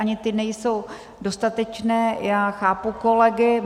Ani ty nejsou dostatečné, já chápu kolegy.